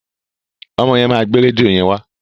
Ọmọ yẹn máa gbé rédíò yẹn wa.